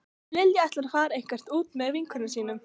Lilja ætlar að fara eitthvert út með vinkonum sínum